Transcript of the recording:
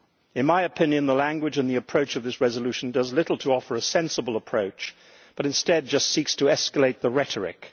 In my opinion the language in this resolution does little to offer a sensible approach but instead just seeks to escalate the rhetoric.